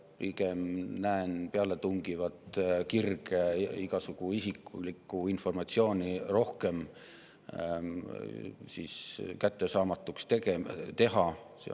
Pigem näen pealetungivat kirge igasugu isiklikku informatsiooni rohkem kättesaamatuks teha.